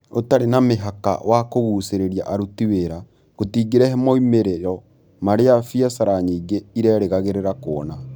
ũtarĩ na mĩhaka wa kũgucĩrĩria aruti wĩra, gũtingĩrehe moimĩrĩro marĩa biacara nyingĩ irerĩgagĩrĩra kuona.